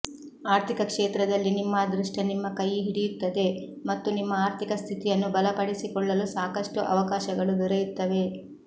ಆರ್ಥಿಕ ಕ್ಷೇತ್ರದಲ್ಲಿ ನಿಮ್ಮ ಅದೃಷ್ಟ ನಿಮ್ಮ ಕೈ ಹಿಡಿಯುತ್ತದೆ ಮತ್ತು ನಿಮ್ಮ ಆರ್ಥಿಕ ಸ್ಥಿತಿಯನ್ನು ಬಲಪಡಿಸಿಕೊಳ್ಳಲು ಸಾಕಷ್ಟು ಅವಕಾಶಗಳು ದೊರೆಯುತ್ತವೆ